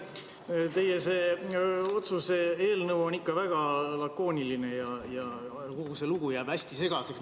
See teie otsuse eelnõu on ikka väga lakooniline ja kogu see lugu jääb hästi segaseks.